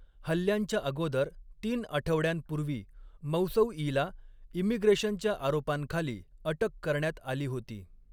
हल्ल्यांच्या अगोदर तीन आठवड्यांपूर्वी मौसौईला इमिग्रेशनच्या आरोपांखाली अटक करण्यात आली होती.